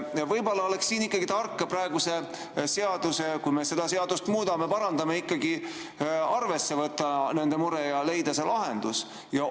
Võib-olla oleks siin tark praegu, kui me seda seadust muudame ja parandame, arvesse võtta nende muret ja leida lahendus?